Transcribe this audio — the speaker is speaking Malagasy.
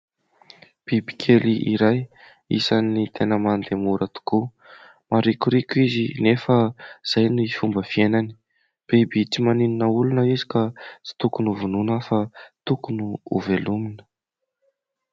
Biby kely iray isany tena mandeha mora tokoa. Maharikoriko izy nefa izay ny fomba fiainany. Biby tsy maninona olona izy ka tsy tokony ho vonoina fa tokony ho velomina.